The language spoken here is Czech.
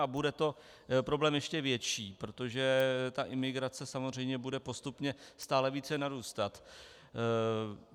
A bude to problém ještě větší, protože ta imigrace samozřejmě bude postupně stále více narůstat.